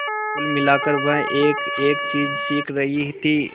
कुल मिलाकर वह एकएक चीज सीख रही थी